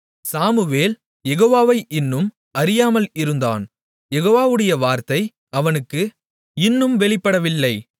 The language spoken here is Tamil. சாமுவேல் யெகோவாவை இன்னும் அறியாமல் இருந்தான் யெகோவாவுடைய வார்த்தை அவனுக்கு இன்னும் வெளிப்படவில்லை